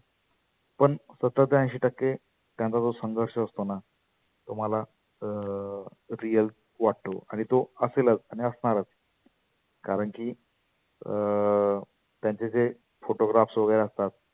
पण सत्तर ते ऐशी टक्के त्यांचा जो संघर्ष असतोना तुम्हाला अं real वाटतो. आणि तो असेलच आणि आसणारच. कारण की अं त्यांचे जे photographs वगैरे असतात.